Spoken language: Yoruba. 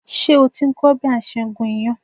Ṣé o ti ń kọ́ bí a ṣe ń gún iyán?